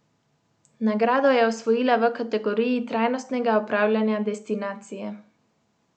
Nagrado je osvojila v kategoriji trajnostnega upravljanja destinacije.